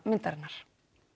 myndarinnar